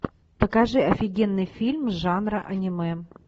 покажи офигенный фильм жанра аниме